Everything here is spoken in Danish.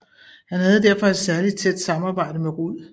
Han havde derfor et særlig tæt samarbejde med Rud